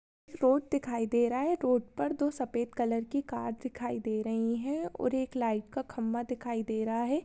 Road दिखाई दे रहा है रोड पर दो सफेद कलर की कार दिखाई दे रही है और एक लाइट का खंबा दिखाई दे रहा है।